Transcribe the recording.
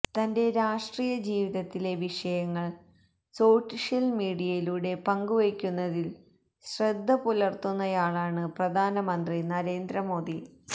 തന്റെ രാഷ്ട്രിയ ജീവിതത്തിലെ വിഷയങ്ങള് സോഷ്യല് മീഡിയയിലൂടെ പങ്കുവെയ്ക്കുന്നതില് ശ്രദ്ധ പുലര്ത്തുന്നയാളാണ് പ്രധാനമന്ത്രി നരേന്ദ്ര മോദി